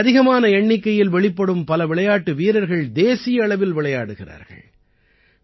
இங்கே அதிகமான எண்ணிக்கையில் வெளிப்படும் பல விளையாட்டு வீரர்கள் தேசிய அளவில் விளையாடுகிறார்கள்